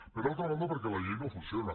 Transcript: per altra banda perquè la llei no funciona